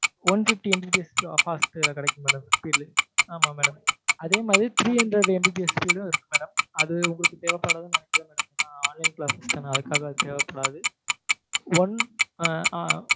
one fifty MBPS fast கிடைக்கும் madam ஆமா madam அதே மாதிரி three hundredMBPSspeed ம் இருக்கு madam அது உங்களுக்கு தேவைப்படாதுனு நினைக்கிறேன் madam ஏன்னா online class தான அதுக்காக அது தேவைப்படாது one ஆஹ்